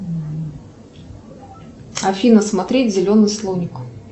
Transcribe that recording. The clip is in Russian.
афина смотреть зеленый слоник